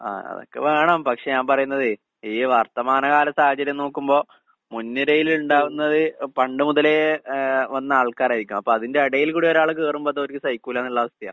ആഹ് അതൊക്കെ വേണം. പക്ഷെ ഞാൻ പറയുന്നതേ ഈ വർത്തമാനകാല സാഹചര്യം നോക്കുമ്പോ മുൻനിരയിലുണ്ടാവുന്നത് പണ്ട് മുതലേ ഏഹ് വന്ന ആൾക്കാരായിരിക്കും. അപ്പതിന്റെ എടയില് കൂടി ഒരാള് കേറുമ്പോ അതോര്ക്ക് സഹിക്കൂല്ലാന്നുള്ള അവസ്ഥയാ.